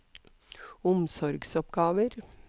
omsorgsoppgaver